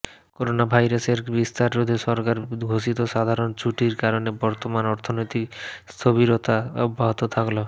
করোনাভাইরাসের বিস্তার রোধে সরকার ঘোষিত সাধারণ ছুটির কারণে বর্তমান অর্থনৈতিক স্থবিরতা অব্যাহত থাকল